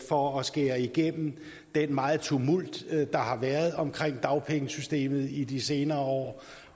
for at skære igennem den meget tumult der har været omkring dagpengesystemet i de senere år